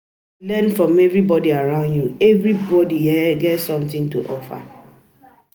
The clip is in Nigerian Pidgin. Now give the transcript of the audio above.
Try learn from um everybody around you; everybody you; everybody um get something to offer.